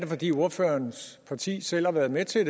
fordi ordførerens parti selv har været med til at